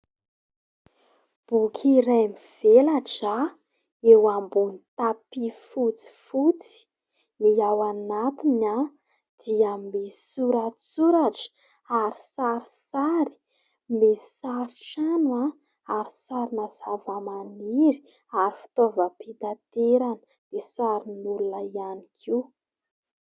Boky iray mivelatra eo ambonin'ny "tapi" fotsifotsy ny ao anatiny dia misy soratsoratra ary sarisary. Misy sary trano ary sarina zava-maniry ary fitaova-pitaterana misy sarin'olona ihany koa.